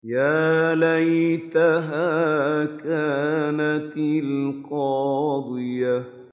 يَا لَيْتَهَا كَانَتِ الْقَاضِيَةَ